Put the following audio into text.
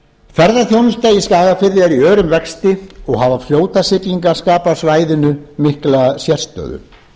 ferðaþjónusta í skagafirði er í örum vexti og hafa fljótasiglingar skapað svæðinu mikla sérstöðu